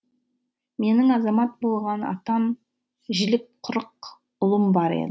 менің азамат болған атан жілік қырық ұлым бар